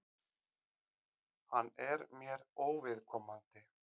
Hann er mér óviðkomandi.